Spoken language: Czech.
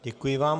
Děkuji vám.